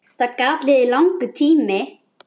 Það gat liðið langur tími.